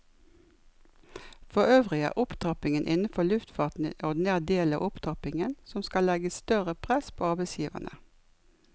Forøvrig er opptrappingen innenfor luftfarten en ordinær del av opptrappingen som skal legge større press på arbeidsgiverne.